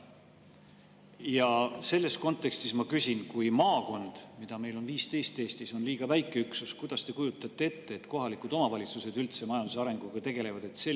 Ja selles kontekstis ma küsin: kui maakond, mida meil Eestis on 15, on liiga väike üksus, siis kuidas te kujutate ette, et kohalikud omavalitsused üldse majanduse arenguga tegelevad?